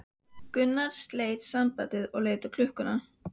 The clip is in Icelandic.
Gunnar sleit samtalinu og leit á klukkuna.